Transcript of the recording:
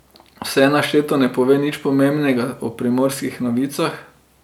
Vse našteto ne pove nič pomembnega o Primorskih novicah.